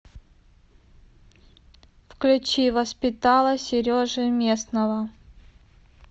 включи воспитала сережи местного